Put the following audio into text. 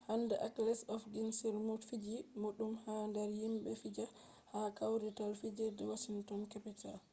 hande aleks ovechkin on mo fiji boɗɗum ha nder himɓe fijata ha kwarital fijerde washinton kapital